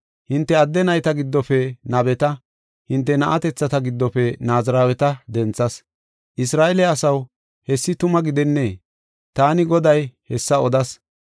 Hinte adde nayta giddofe nabeta, hinte na7atethata giddofe Naaziraweta denthas. Isra7eele asaw, hessi tuma gidennee? Taani Goday hessa odas.